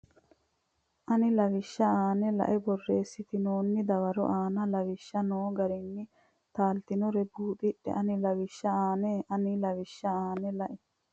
ani lawishsha aanna la e borreessitinoonni dawaro aane Lawishsha noo garinni taaltinoro buuxidhe ani lawishsha aanna ani lawishsha aanna la.